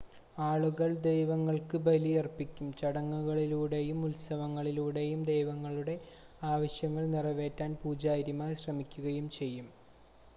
ആളുകൾ ദൈവങ്ങൾക്ക് ബലിയർപ്പിക്കും ചടങ്ങുകളിലൂടെയും ഉത്സവങ്ങളിലൂടെയും ദൈവങ്ങളുടെ ആവശ്യങ്ങൾ നിറവേറ്റാൻ പൂജാരിമാർ ശ്രമിക്കുകയും ചെയ്യും